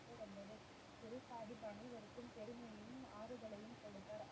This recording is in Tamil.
வந்தது குருசாஹிப் அனைவருக்கும் பெருமையும் ஆறுதலையும் கொடுத்தார்